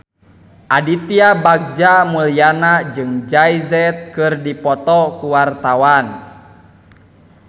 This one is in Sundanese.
Aditya Bagja Mulyana jeung Jay Z keur dipoto ku wartawan